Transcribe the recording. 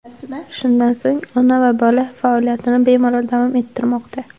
Shundan so‘ng ona va bola faoliyatini bemalol davom ettirmoqda.